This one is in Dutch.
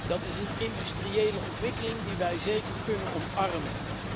Dat is een industriële ontwikkeling die wij zeker kunnen omarmen.